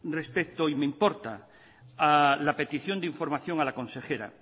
respecto y me importa a la petición de información a la consejera